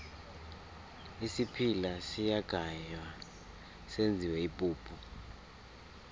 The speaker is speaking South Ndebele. isiphila siyagaywa senziwe ipuphu